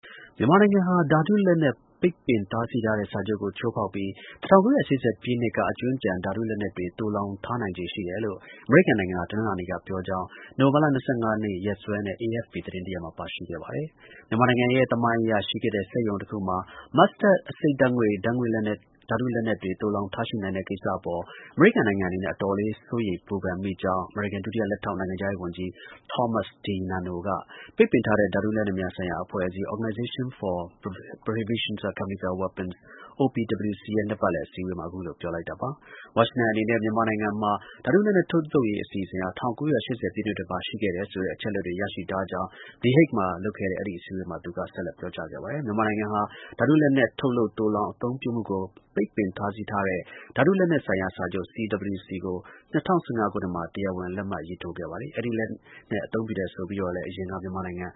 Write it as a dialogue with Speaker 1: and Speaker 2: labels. Speaker 1: မြန်မာနိုင်ငံဟာ ဓါတု လက်နက် ပိတ်ပင်တားဆီးထားတဲ့ စာချုပ်ကို ချိုးဖောက်ပြီး ၁၉၈၀ ပြည့်နှစ်က အကြွင်းအကျန် ဓါတု လက်နက်တွေ သုံလှောင်ထားနိုင်ခြေရှိတယ်လို့ အမေရိကန် နိုင်ငံက တနင်္လာနေ့က ပြောကြောင်း နိုဝင်ဘာလ ၂၅ ရက်နေ့စွဲနဲ့ AFP သတင်းတစ်ရပ်မှာ ပါရှိခဲ့ပါတယ်။ မြန်မာနိုင်ငံရဲ့ သမိုင်းအရ ရှိခဲ့တဲ့ စက်ရုံတစ်ခုမှာ mustard အဆိပ်ဓါတ်ငွေ့ ဓါတုလက်နက်တွေ သိုလှောင်ထားရှိနိုင်တဲ့ကိစ္စအပေါ် အမေရိကန် နိုင်ငံအနေနဲ့ အတော်လေး စိုးရိမ် ပူပန်မိကြောင်း အမေရိကန် ဒုတိယ လက်ထောက်နိုင်ငံခြားရေး ဝန်ကြီး Thomas DiNanno က ပိတ်ပင်ထားတဲ့ ဓါတုလက်နက်များဆိုင်ရာ အဖွဲ့အစည်း (Organization for Prohibition of Chemical Weapons - OPCW) ရဲ့ နှစ်ပတ်လည် အစည်းအဝေးမှာ အခုလို ပြောလိုက်တာပါ။ ဝါရှင်တန်အနေနဲ့ မြန်မာနိုင်ငံမှာ ဓါတု လက်နက် ထုတ်လုပ်ရေး အစီအစဉ် ၁၉၈၀ ပြည့်နှစ်တွေမှာ ရှိခဲ့တယ်ဆိုတဲ့ အချက်အလက်တွေ ရရှိထားကြောင်း The Hague မြို့မှာ လုပ်ခဲ့ အဲဒီ အစည်းအဝေးမှာ သူက ဆက်လက် ပြောကြားခဲ့ပါတယ်။ မြန်မာနိုင်ငံဟာ ဓါတု လက်နက် ထုတ်လုပ်၊ သိုလှောင်၊ အသုံးပြုမှုကို ပိတ်ပင် တားဆီးထားတဲ့ ဓါတု လက်နက်ဆိုင်ရာ စာချုပ် (CWC) ကို ၂၀၁၅ ခုနှစ်မှာ တရားဝင် လက်မှတ်ရေးထိုးခဲ့ပါတယ်။ အဲဒီ လက်နက် အသုံးပြုတယ်ဆိုပြီးတော့လည်း အရင်က မြန်မာနိုင်ငံ